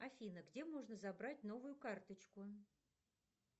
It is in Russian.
афина где можно забрать новую карточку